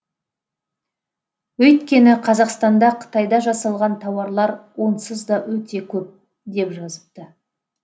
өйткені қазақстанда қытайда жасалған тауарлар онсыз да өте көп деп жазыпты